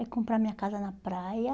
É comprar minha casa na praia.